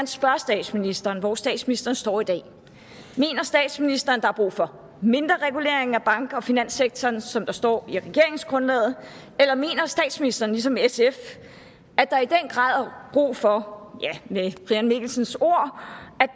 spørge statsministeren hvor statsministeren står i dag mener statsministeren at der er brug for mindre regulering af bank og finanssektoren som der står i regeringsgrundlaget eller mener statsministeren ligesom sf at der i den grad er brug for ja med brian mikkelsens ord at